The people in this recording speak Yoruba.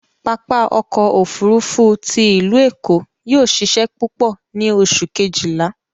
Papa ọkọ ofurufu ti ilu Eko yóò ṣiṣẹ pupọ ni Oṣu kejila